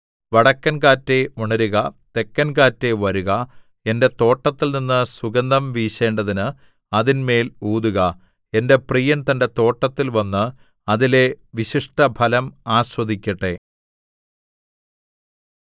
വടക്കൻകാറ്റേ ഉണരുക തെക്കൻ കാറ്റേ വരുക എന്റെ തോട്ടത്തിൽനിന്ന് സുഗന്ധം വീശേണ്ടതിന് അതിന്മേൽ ഊതുക എന്റെ പ്രിയൻ തന്റെ തോട്ടത്തിൽ വന്ന് അതിലെ വിശിഷ്ടഫലം ആസ്വദിക്കട്ടെ